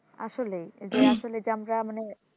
আসলেই যে আসলে যে আমরা মানে